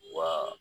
Wa